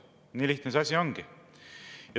Nii lihtne see asi ongi.